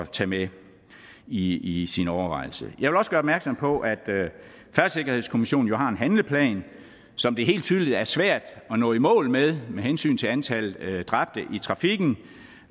tage med i sin overvejelse jeg vil også gøre opmærksom på at færdselssikkerhedskommissionen jo har en handleplan som det helt tydeligt er svært at nå i mål med med hensyn til antallet af dræbte i trafikken